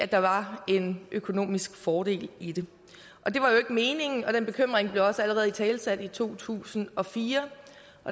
der var en økonomisk fordel i det det var jo ikke meningen og den bekymring blev også allerede italesat i to tusind og fire